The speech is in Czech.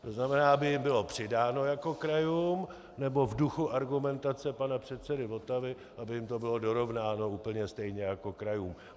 To znamená, aby jim bylo přidáno jako krajům, nebo v duchu argumentace pana předsedy Votavy, aby jim to bylo dorovnáno úplně stejně jako krajům.